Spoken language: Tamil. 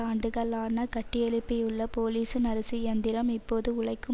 ஆண்டுகளான கட்டியெழுப்பியுள்ள போலிஸின் அரசு இயந்திரம் இப்போது உழைக்கும்